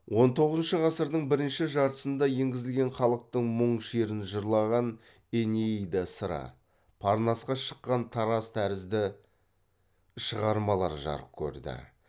он тоғызыншы ғасырдың бірінші жартысында енгізілген халықтың мұң шерін жырлаған энеида сыры парнасқа шыққан тарас тәрізді шығармалар жарық көрді